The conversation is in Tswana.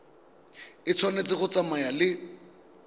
e tshwanetse go tsamaya le